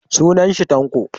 Sunan shi Tanko